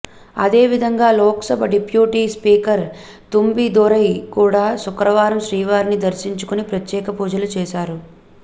అదేవిధంగా Lok Sabha deputy speaker Thambidurai కూడా శుక్రవారం శ్రీవారిని దర్శించుకుని ప్రత్యేక పూజలు చేశారు